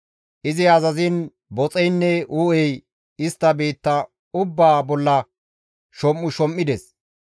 Izi azaziin boxeynne uu7ey istta biitta ubbaa bolla shom7ushom7ides.